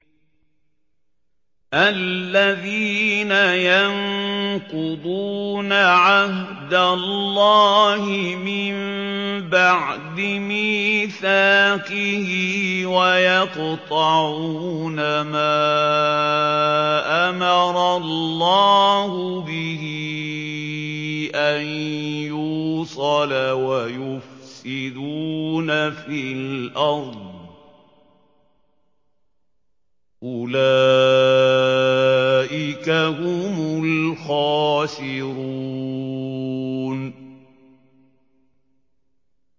الَّذِينَ يَنقُضُونَ عَهْدَ اللَّهِ مِن بَعْدِ مِيثَاقِهِ وَيَقْطَعُونَ مَا أَمَرَ اللَّهُ بِهِ أَن يُوصَلَ وَيُفْسِدُونَ فِي الْأَرْضِ ۚ أُولَٰئِكَ هُمُ الْخَاسِرُونَ